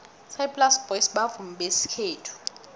isaplasi boys bavumi besikhethu